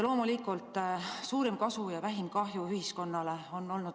Loomulikult on printsiibiks olnud suurim kasu ja vähim kahju ühiskonnale.